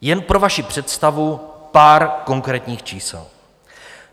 Jen pro vaši představu pár konkrétních čísel.